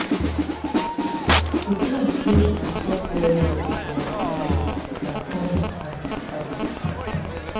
di plant wey we dey chop well well for our area na corn and cassava.